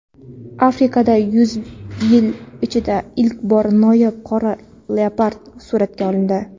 Afrikada yuz yil ichida ilk bor noyob qora leopard suratga olindi.